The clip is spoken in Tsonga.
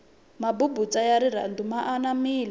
mabubutsa ya rirhandu ya anamile